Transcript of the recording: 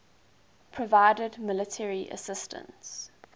provided military assistance